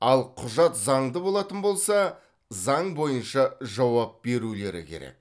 ал құжат заңды болатын болса заң бойынша жауап берулері керек